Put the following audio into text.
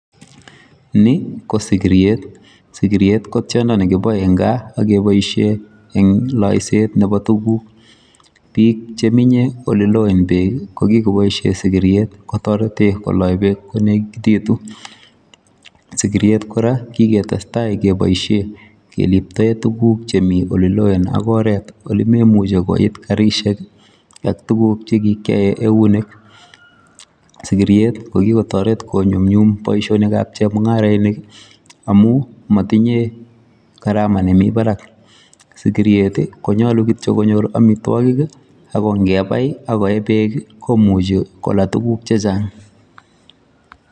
Ni ko sikiryet. Sikiryet ko tiondo nekipoe eng gaa akepoishe eng loiset nepo tuguk, Biik cheminye oleloen beek ko kikopoishe sikirtet kotorete koloi beek konekititu. Sikiryet kora kiketestai kepoishe kiliptoe tuguk chemi oliloen ak oret olimemuchi koit karishek ak tuguk chekikyoe eunek. Sikiryet ko kikotoret konyumnyum boishonikap chemung'arenik amu matinye gharama nemi barak. Sikiryet konyolu kityo konyor amitwokik ako nkepai akoe beek komuchi kola tuguk chechang.